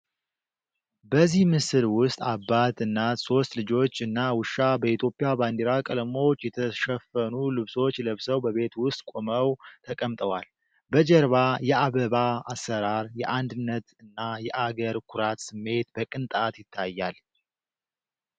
በዚህ ምስል ውስጥ አባት፣ እናት፣ ሶስት ልጆች እና ውሻ በኢትዮጵያ ባንዲራ ቀለሞች የተሸፈኑ ልብሶች ለብሰው በቤት ውስጥ ቆመው ተቀምጠዋል። በጀርባ የአበባ አሰራር፣ የአንድነት እና የአገር ኩራት ስሜት በቅንጣት ይታያል።